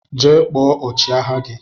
Jee kpọọ ọchi agha gi!!